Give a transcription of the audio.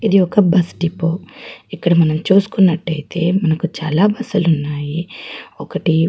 ఇది ఒక bus depot ఇక్కడ మనం చుసుకున్నట్టు అయితే మనకు చాలా బస్సు లు ఉన్నాయి ఒకటి.